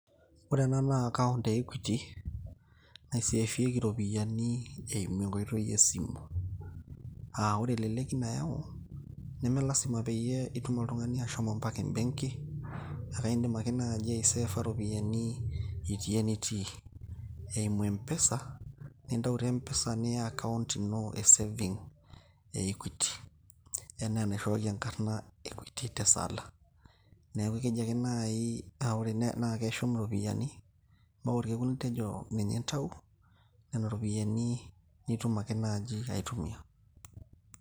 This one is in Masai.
Ore ena na account e Equity, naiseefieki iropiyiani eimu enkoitoi esimu. Ah ore eleleki nayau, nemelasima peyie itum oltung'ani ashomo mpaka ebenki, akaidim ake nai aiseefa ropiyaiani itii enitii. Eimu mpesa, nintau te mpesa niya account ino e saving e Equity. Enaa enaishooki enkarna Equity Tesala. Neeku ekeji ake naai, na ore na keshum iropiyiani, mpaka olkekun litejo ninye intayu, nena ropiyaiani nitum ake naji aitumia.